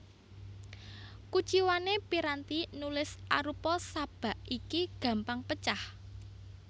Kuciwané piranti nulis arupa sabak iki gampang pecah